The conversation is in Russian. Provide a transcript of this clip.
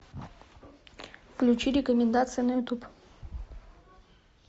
включи рекомендации на ютуб